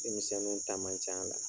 Denmisɛnninw ta man c'a la.